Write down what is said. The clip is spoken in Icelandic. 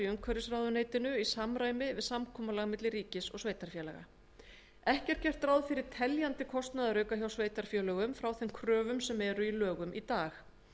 umhverfisráðuneytinu í samræmi við samkomulag milli ríkis og sveitarfélaga ekki er gert ráð fyrir teljandi kostnaðarauka hjá sveitarfélögum frá þeim kröfum sem eru í lögum í dag